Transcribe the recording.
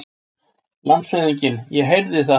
LANDSHÖFÐINGI: Ég heyrði það!